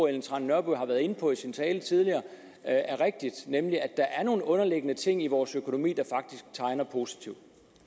ellen trane nørby har været inde på i sin tale tidligere er rigtigt nemlig at der er nogle underliggende ting i vores økonomi der faktisk tegner positivt